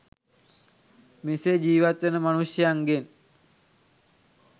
මෙසේ ජීවත් වන මනුෂ්‍යයන්ගෙන්